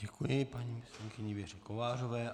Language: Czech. Děkuji paní poslankyni Věře Kovářové.